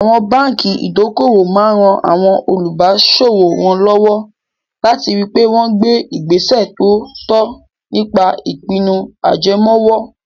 Àwọn báńkì ìdókòwò máa ran àwọn olùbáṣòwò wọn lọ́wọ́ láti ri pé wọ́n gbé ìgbésẹ̀ tó tọ́ nípa ìpinnu ajẹmoówó.